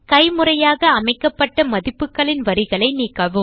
கைமுறையாக அமைக்கப்பட்ட மதிப்புகளின் வரிகளை நீக்கவும்